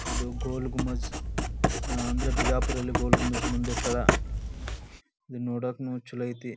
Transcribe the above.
ಇದು ಗೋಲಗುಮಾಜ್ ಅಹ್ ಅಂದ್ರ ಬಿಜಾಪುರ್ ಅಲ್ಲಿ ಗೋಲಗುಮಾಜ್ ಮುಂದಿಟ್ಟಾರ ಇದನ್ನು ನೋಡಕ್ಕನು ಚಲೋ ಐತಿ .